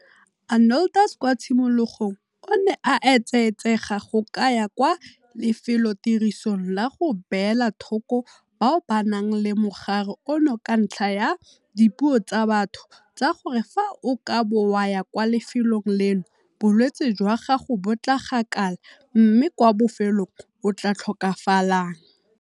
Arnoldus kwa tshimologong o ne a etsaetsega go ka ya kwa lefelotirisong la go beela thoko bao ba nang le mogare ono ka ntlha ya dipuo tsa batho tsa gore fa o ka bo wa ya kwa lefelong leno bolwetse jwa gago bo tla gakala mme kwa bofelong o tla tlhokafalang.